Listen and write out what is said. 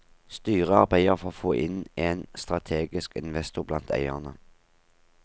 Styret arbeider for å få inn en strategisk investor blant eierne.